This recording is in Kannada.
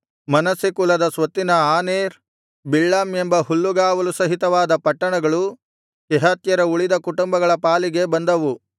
ಮನಸ್ಸೆ ಕುಲದ ಸ್ವತ್ತಿನ ಆನೇರ್ ಬಿಳ್ಳಾಮ್ ಎಂಬ ಹುಲ್ಲುಗಾವಲು ಸಹಿತವಾದ ಪಟ್ಟಣಗಳು ಕೆಹಾತ್ಯರ ಉಳಿದ ಕುಟುಂಬಗಳ ಪಾಲಿಗೆ ಬಂದವು